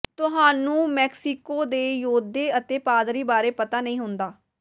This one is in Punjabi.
ਤੁਹਾਨੂੰ ਮੈਕਸੀਕੋ ਦੇ ਯੋਧੇ ਅਤੇ ਪਾਦਰੀ ਬਾਰੇ ਪਤਾ ਨਹੀਂ ਹੁੰਦਾ